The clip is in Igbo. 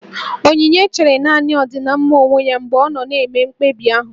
Onyinye chere nanị ọdịmma onwe ya mgbe ọ na-eme mkpebi ahụ